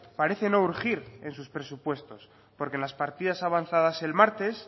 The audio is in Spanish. parece no urgir en sus presupuestos porque en las partidas avanzadas el martes